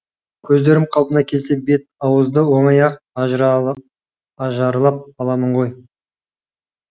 көздерім қалпына келсе бет ауызды оңай ақ ажарлап аламын ғой